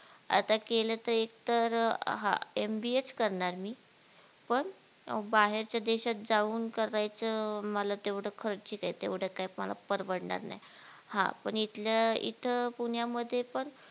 आता केलं तर एकतर अं अह MBA चं करणार मी पण बाहेरच्या देशात जाऊन करायचं मला तेवढ खर्चीक ये तेवढं काय मला परवडणार नाय हा पण इथलं इथं पुण्यामध्ये पण